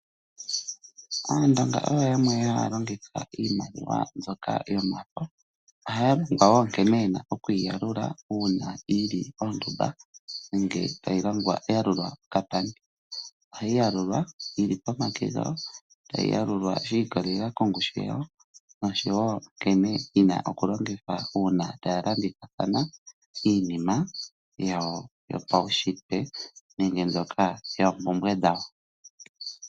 Aandonga oyo yamwe haya longitha iimaliwa yomafo. Ohaya longwa wo nkene ye na okuyi yalula uuna yi li oondumba nenge yalulwa okapandi. Ohayi yalulwa yi li pomake gawo, tayi yalulwa shi ikolela kongushu yawo noshowo nkene yi na okulongithwa uuna taya landithathana iinima yopaunshitwe nenge mbyoka yoompumbwe dhawo.